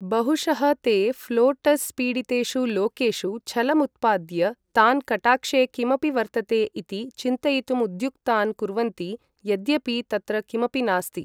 बहुशः ते फ्लोटर्स् पीडितेषु लोकेषु छलमुत्पाद्य तान् कटाक्षे किमपि वर्तते इति चिन्तयितुमुद्युक्तान् कुर्वन्ति यद्यपि तत्र किमपि नास्ति।